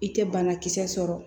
I tɛ banakisɛ sɔrɔ